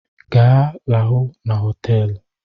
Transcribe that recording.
Ga, lahụ n'hoteelu!